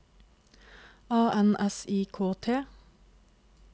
A N S I K T